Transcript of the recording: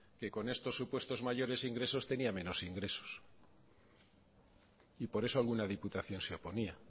que con estos supuestos mayores ingresos tenía menos ingresos y por eso alguna diputación se oponía